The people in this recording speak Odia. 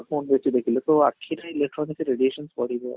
phone ବେଶି ଦେଖିଲେ ତ ଆଖିରେ electronic radiation ପଡିବ